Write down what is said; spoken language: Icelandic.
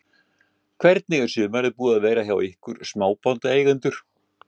Hvernig er sumarið búið að vera fyrir ykkur smábátaeigendur?